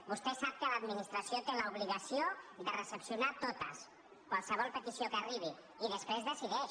vostè sap que l’adminis·tració té l’obligació de recepcionar totes qualsevol pe·tició que hi arribi i després decideix